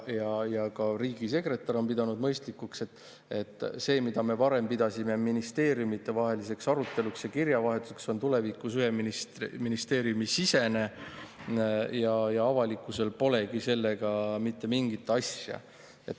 Ka riigisekretär on pidanud mõistlikuks, et see, mida me varem pidasime ministeeriumidevaheliseks eluks ja kirjavahetuseks, on tulevikus ühe ministeeriumi sisene ja avalikkusel polegi sellega mitte mingit asja.